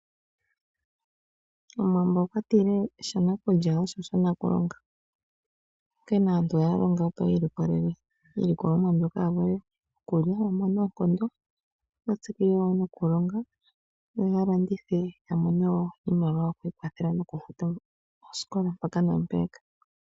Omuwambo okwatile, shanakulya osho shanakulonga. Onkene aantu ohaya longo, opo yi ilikolele iilokolomwa mbyoka yokulya, yamone oonkondo, yo ya tsikile wo nokulonga, yo ya landithe ya mone wo iimaliwa yokwiikwathela, nokufuta oosikola mpaka naampeyaka.